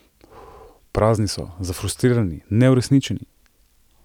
Prazni so, zafrustrirani, neuresničeni.